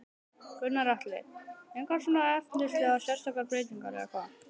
Gunnar Atli: Engar svona efnislegar sérstakar breytingar eða hvað?